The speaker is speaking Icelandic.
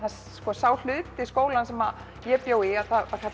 sá hluti skólans sem ég bjó hét